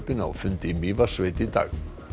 á fundi í Mývatnssveit í dag